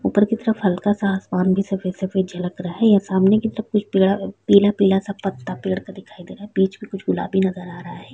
ऊपर की तरफ हल्का-सा आसमान भी सफेद-सफेद झलक रहा है ये सामने के तरफ कुछ पीड़ा पीला-पीला सा पत्ता पेड़ का दिखाई दे रहा है बीच में कुछ गुलाबी नजर आ रहा है।